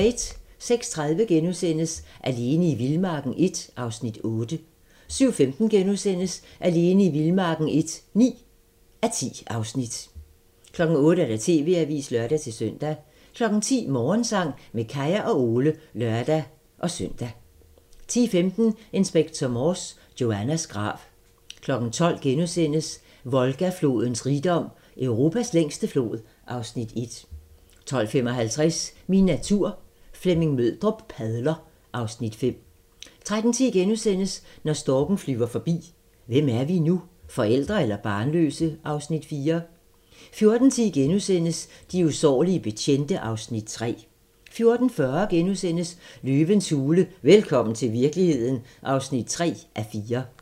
06:30: Alene i vildmarken I (8:10)* 07:15: Alene i vildmarken I (9:10)* 08:00: TV-avisen (lør-søn) 10:00: Morgensang med Kaya og Ole (lør-søn) 10:15: Inspector Morse: Joannas grav 12:00: Volga-flodens rigdom: Europas længste flod (Afs. 1)* 12:55: Min natur - Flemming Møldrup padler (Afs. 5) 13:10: Når storken flyver forbi – Hvem er vi nu? Forældre eller barnløse? (Afs. 4)* 14:10: De usårlige betjente (Afs. 3)* 14:40: Løvens hule – velkommen til virkeligheden (3:4)*